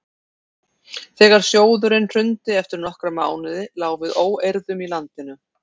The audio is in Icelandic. þegar sjóðurinn hrundi eftir nokkra mánuði lá við óeirðum í landinu